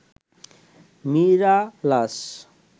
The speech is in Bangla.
মিরালাস